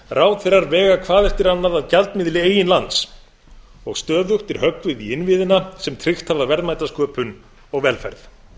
ráðherrar vega hvað eftir annað að gjaldmiðli eigin lands og stöðugt er höggvið í innviðina sem tryggt hafa verðmætasköpun og velferð